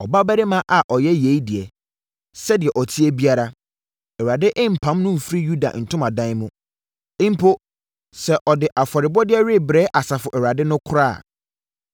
Ɔbarima a ɔyɛ yei deɛ, sɛdeɛ ɔteɛ biara, Awurade mpam no mfiri Yakob ntomadan mu, mpo sɛ ɔde afɔrebɔdeɛ rebrɛ Asafo Awurade no koraa a.